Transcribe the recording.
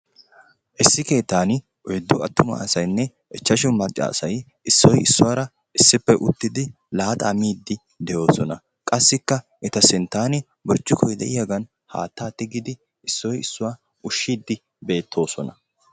issi keettaani oyddu attuma asaynne ichashu macca asay issoy issuwara issippe laaxaa miidi de'oosona; qassikka eta sintaani burccukkoy de'iyagan haataa tigiddi issoy issuwa ushiidi beetoosona.